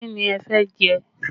Kí ni ẹ fẹ́ jẹ?